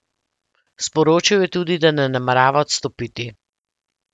Sporočil je tudi, da ne namerava odstopiti.